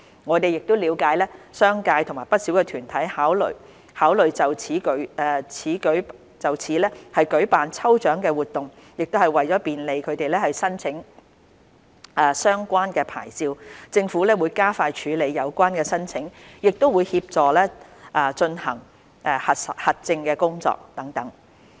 我們了解商界和不少團體考慮就此舉辦抽獎活動，為便利它們申請相關牌照，政府會加快處理有關申請，亦會協助進行核證工作等。